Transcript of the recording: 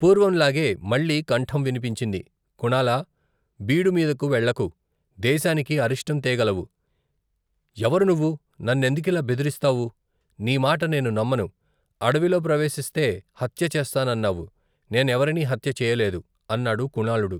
పూర్వంలాగే మళ్ళీ కంఠం వినిపించింది కుణాలా, బీడుమీదకు వెళ్లకు, దేశానికి అరిష్ఠం తేగలవు, ఎవరు నువ్వు నన్నెందుకిలా బెదిరిస్తావు, నీమాట నేను నమ్మను అడవిలో ప్రవేశిస్తే హత్య చేస్తానన్నావు, నేనెవరినీ హత్య చేయలేదు, అన్నాడు కుణాళుడు.